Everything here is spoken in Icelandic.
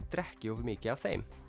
drekki of mikið af þeim